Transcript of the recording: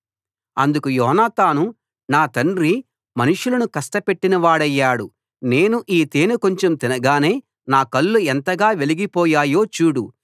అందుకు యోనాతాను నా తండ్రి మనుషులను కష్టపెట్టిన వాడయ్యాడు నేను ఈ తేనె కొంచెం తినగానే నా కళ్ళు ఎంతగా వెలిగిపోయాయో చూడు